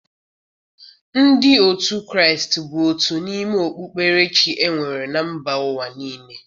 Ndị otu Kraịst bụ otu n'ime okpukperechi e nwere na mba ụwa niile.